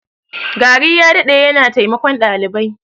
Gari ya dade yana taimakon dalibai.